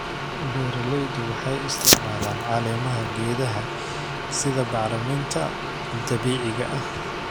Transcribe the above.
Beeralaydu waxay isticmaalaan caleemaha geedaha sida bacriminta dabiiciga ah.